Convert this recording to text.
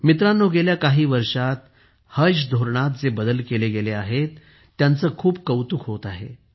मित्रांनो गेल्या काही वर्षात हज धोरणात जे बदल केले गेले आहेत त्यांचे खूप कौतुक होत आहे